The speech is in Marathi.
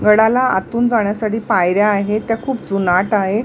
गडाला आतून जाण्यासाठी पायऱ्या आहेत त्या खूप जुनाट आहेत.